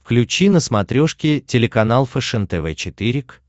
включи на смотрешке телеканал фэшен тв четыре к